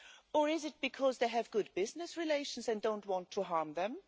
Or is it because they have good business relations and don't want to harm them?